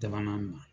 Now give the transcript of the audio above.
Dabanaani na